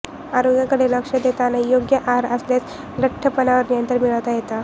आरोग्याकडे लक्ष देताना योग्य आहार असल्यास लठ्ठपणावर नियंत्रण मिळवता येते